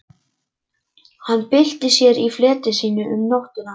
Hann bylti sér í fleti sínu um nóttina.